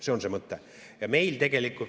See on see mõte.